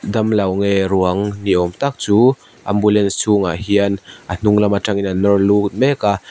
damlo nge ruang ni awm tak chu ambulance chhungah hian a hnung lam atangin an nawr lut mek a.